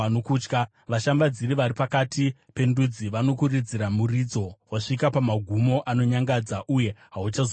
Vashambadziri vari pakati pendudzi vanokuridzira muridzo; wasvika kumagumo anonyangadza uye hauchazovapozve.’ ”